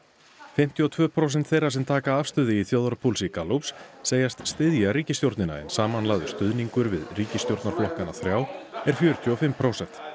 fimmtíu og tvö prósent þeirra sem taka afstöðu í þjóðarpúlsi Gallups segjast styðja ríkisstjórnina en samanlagður stuðningur við ríkisstjórnarflokkana þrjá er fjörutíu og fimm prósent